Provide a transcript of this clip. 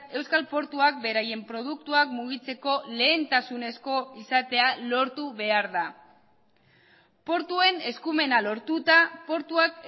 euskal portuak beraien produktuak mugitzeko lehentasunezko izatea lortu behar da portuen eskumena lortuta portuak